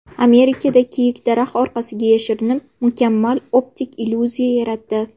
Amerikada kiyik daraxt orqasiga yashirinib, mukammal optik illyuziya yaratdi.